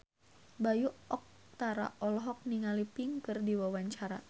Bayu Octara olohok ningali Pink keur diwawancara